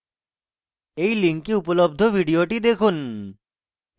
এই link উপলব্ধ video দেখুন